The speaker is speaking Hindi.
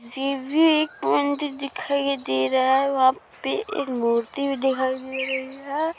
दिखाई दे रहा है। वहाँ पे एक मूर्ति भी दिखाई --